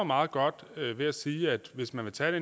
meget godt ved at sige at hvis man vil tage